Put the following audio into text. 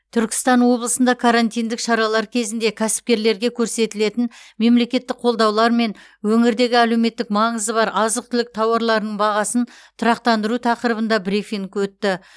түркістан облысында карантиндік шаралар кезінде кәсіпкерлерге көрсетілетін мемлекеттік қолдаулар мен өңірдегі әлеуметтік маңызы бар азық түлік тауарларының бағасын тұрақтандыру тақырыбында брифинг өтті